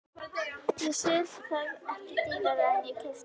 Ég sel það ekki dýrara en ég keypti.